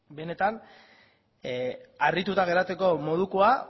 benetan harrituta geratzeko modukoa